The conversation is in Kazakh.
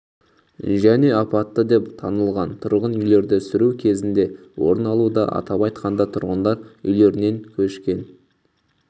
және апатты деп танылған тұрғын үйлерді сүру кезінде орын алуда атап айтқанда тұрғындар үйлерінен көшкен